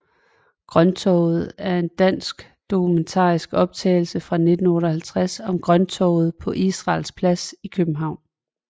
Grønttorvet er en dansk dokumentarisk optagelse fra 1958 om Grønttorvet på Israels Plads i København